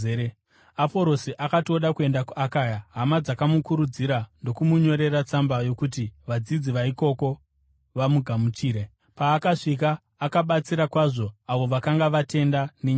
Aporosi akati oda kuenda kuAkaya, hama dzakamukurudzira ndokumunyorera tsamba yokuti vadzidzi vaikoko vamugamuchire. Paakasvika akabatsira kwazvo avo vakanga vatenda nenyasha.